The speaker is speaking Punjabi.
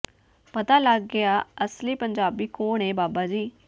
ਪਤਾ ਲੱਗ ਗਿਆ ਅਸਲੀ ਪੰਜਾਬੀ ਕੌਣ ਏ ਬਾਬਾ ਜੀ